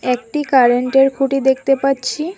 একটি কারেন্টের খুঁটি দেখতে পাচ্ছি।